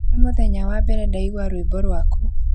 Nĩ mũthenya wa mbere ndaigua rwĩmbo rwaku